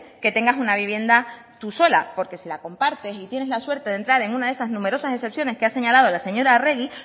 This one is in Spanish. que tenga una vivienda tu sola porque si la compartes y tienes la suerte de entrar en una de esas numerosas excepciones que ha señalado la señora arregi